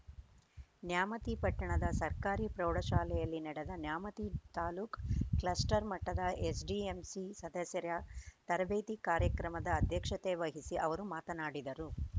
ನ್ಯಾಮತಿ ಪಟ್ಟಣದ ಸರ್ಕಾರಿ ಪ್ರೌಢ ಶಾಲೆಯಲ್ಲಿ ನಡೆದ ನ್ಯಾಮತಿ ತಾಲೂಕು ಕ್ಲಸ್ಟರ್‌ ಮಟ್ಟದ ಎಸ್‌ಡಿಎಂಸಿ ಸದಸ್ಯರ ತರಬೇತಿ ಕಾರ್ಯಕ್ರಮದ ಅಧ್ಯಕ್ಷತೆ ವಹಿಸಿ ಅವರು ಮಾತನಾಡಿದರು